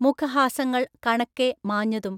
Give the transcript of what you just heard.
മുഖഹാസങ്ങൾ കണക്കെ മാഞ്ഞതും.